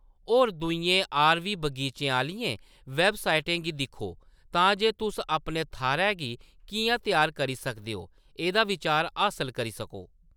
होर दूइयें आर.वी. बगीचें आह्‌लियें वेबसाइटें गी दिक्खो तां जे तुस अपने थाह्‌‌‌रै गी किʼयां त्यार करी सकदे ओ एह्‌‌‌दा बिचार हासल करी सको।